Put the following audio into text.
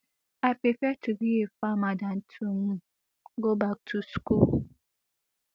i prefer to be a farmer dan to um go back to school